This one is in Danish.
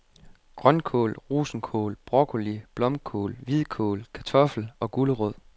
Grønkål, rosenkål, broccoli, blomkål, hvidkål, kartoffel og gulerod.